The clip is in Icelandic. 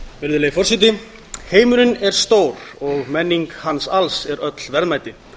virðulegi forseti heimurinn er stór og menning hans alls er öll verðmæti